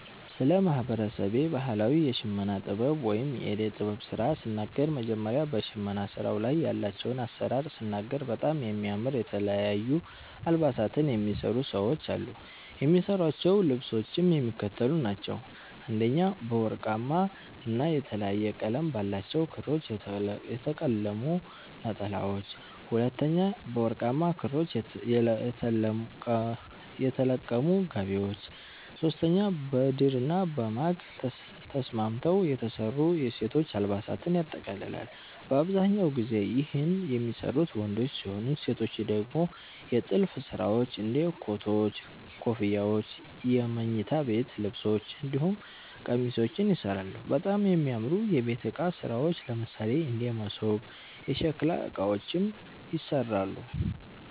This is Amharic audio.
ስለ ማህበረሰቤ ባህላዊ የሽመና ጥበብ ወይም የእደ ጥበብ ስራ ስናገር መጀመሪያ በሸመና ስራዉ ላይ ያላቸዉን አሰራር ስናገር በጣም የሚያምር የተለያዩ አልባሳትን የሚሰሩ ሰዎች አሉ። የሚሰሯቸዉ ልብሶችም የሚከተሉት ናቸዉ፦ 1) በወርቃማ ና የተለያየ ቀለም ባላቸዉ ክሮች የተለቀሙ ነጠላዎች፤ 2)በወርቃማ ክሮች የተለቀሙ ጋቢዎች፤ 3)በድርና በማግ ተስማምተዉ የተሰሩ የሴቶች አልባሳትን ያጠቃልላል። በአብዛኛው ጊዜ ይህን የሚሰሩት ወንዶች ሲሆኑ ሴቶች ደግሞ የጥልፍ ስራዎች እንደ ኮቶች, ኮፍያዎች የመኝታ ቤት ልብሶች እንዲሁም ቄሚሶችንም ይሰራሉ፣ በጣም የሚያምሩ የቤት እቃ ስራዎች ለምሳሌ እንደ መሶብ፣ የሸከላ እቃዎችንም ይሰራሉ።